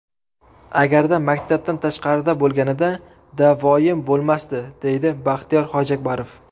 Agarda maktabdan tashqarida bo‘lganida da’voyim bo‘lmasdi, deydi Baxtiyor Hojiakbarov.